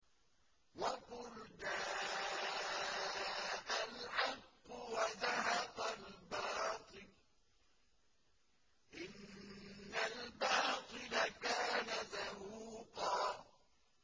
وَقُلْ جَاءَ الْحَقُّ وَزَهَقَ الْبَاطِلُ ۚ إِنَّ الْبَاطِلَ كَانَ زَهُوقًا